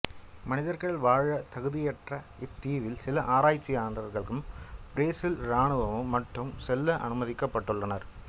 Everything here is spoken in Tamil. மனிதர்கள் வாழ தகுதியற்ற இத்தீவில் சில ஆராய்ச்சியாளர்களும் பிரேசில் ராணுவமும் மட்டும் செல்ல அனுமதிக்கப்பட்டுள்ளனர்